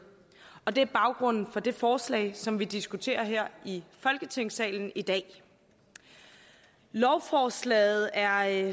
og det er baggrunden for det forslag som vi diskuterer her i folketingssalen i dag lovforslaget er